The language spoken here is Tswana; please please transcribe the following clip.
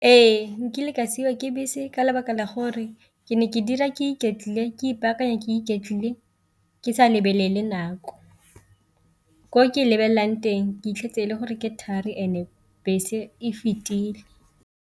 Ee, nkile ka siwa ke bese ka lebaka la gore ke ne ke dira ke iketlile ke ipaakanya ke iketlile ke sa lebelele nako, ko ke lebelelang teng ke fitlhetse e le gore ke thari and-e bese e fetile.